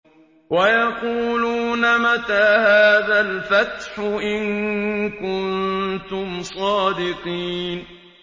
وَيَقُولُونَ مَتَىٰ هَٰذَا الْفَتْحُ إِن كُنتُمْ صَادِقِينَ